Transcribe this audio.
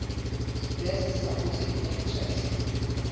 best supporting actress